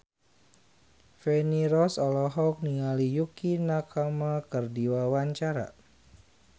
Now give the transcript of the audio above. Feni Rose olohok ningali Yukie Nakama keur diwawancara